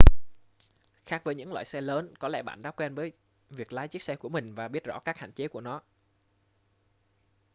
khác với những loại xe lớn có lẽ bạn đã quen với việc lái chiếc xe của mình và biết rõ các hạn chế của nó